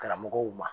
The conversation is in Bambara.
Karamɔgɔw ma